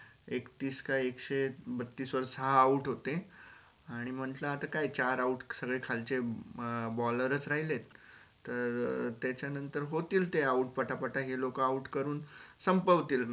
एकतीस का एकशे बत्तीस वर हा out होते आणि म्हटल आता काय चार outballer च राहिले तर त्याचा नंतर ते होतील ते out पटापटा हे लोक out करून संपवतील match